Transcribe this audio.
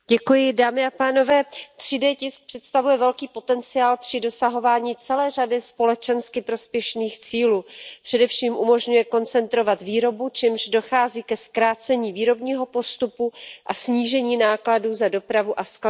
Paní předsedající, 3D tisk představuje velký potenciál při dosahování celé řady společensky prospěšných cílů. Především umožňuje koncentrovat výrobu, čímž dochází ke zkrácení výrobního postupu a snížení nákladů za dopravu a skladování.